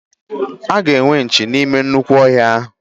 Aga enwe nchi n'ime nnukwu ọhịa ahụ